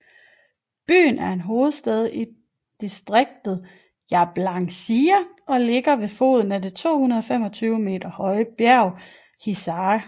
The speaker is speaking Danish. Byen er hovedstad i distriktet Jablanica og ligger ved foden af det 225 meter høje bjerg Hisar